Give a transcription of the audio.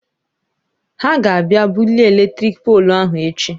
He ga abịa bulie eletrik poolụ ahụ echi.